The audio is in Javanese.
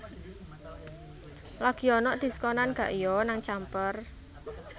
Lagi onok diskonan gak yo nang Camper